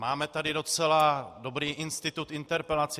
Máme tady docela dobrý institut interpelace.